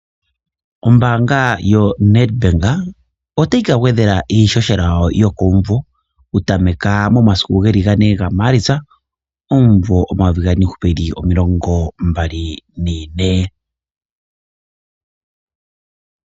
Ombaanga yoNetbank otayi ka gwedhela iihohela yokomuvo oku tameka momasiku geli ga 4 gaMaalitsa omuvo omayovi gaali nomilongo mbali nane.